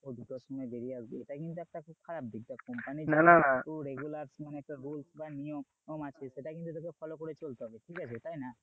দুটোর সময় বেরিয়ে আসবে এটা কিন্তু একটা খুব খারাপ দিক দেখ regulars মানে rules বা নিয়ম আছে সেটা কিন্তু তোকে follow করে চলতে হবে ঠিক আছে তাই না?